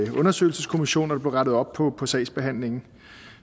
en undersøgelseskommission og der blev rettet op på på sagsbehandlingen